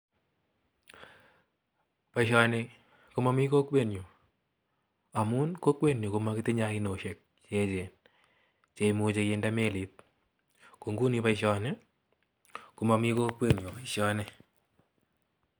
Boishoni ko momii kokwenyun amun kokwenyun komokitinye ainosiek cheechen cheimuche kinde meliit, ko inguni boishoni ko momii kokwenyun boishoni.